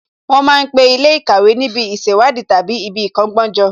Wọ́n ma ń pe Ilé ìkàwé níbi ìṣèwádìí tàbí ibi ìkọ́gbọ́n jọ